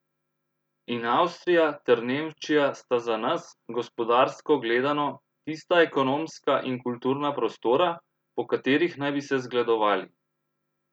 In Avstrija ter Nemčija sta za nas, gospodarsko gledano, tista ekonomska in kulturna prostora, po katerih naj bi se zgledovali!